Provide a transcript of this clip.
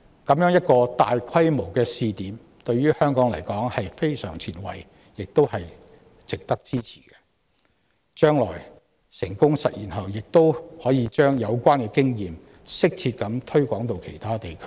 這樣一個大規模試點，對於香港而言是非常前衞，亦值得支持，而將來成功實踐後亦可把有關經驗適切地推廣到其他地區。